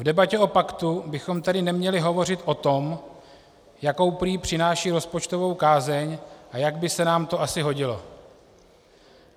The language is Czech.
V debatě o paktu bychom tedy neměli hovořit o tom, jakou prý přináší rozpočtovou kázeň a jak by se nám to asi hodilo.